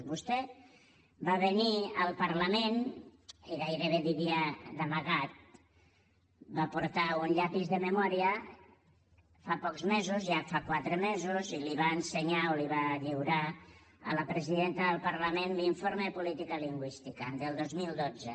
vostè va venir al parlament i gairebé diria d’amagat va portar un llapis de memòria fa pocs mesos ja fa quatre mesos i li va ensenyar o li va lliurar a la presidenta del parlament l’informe de política lingüística del dos mil dotze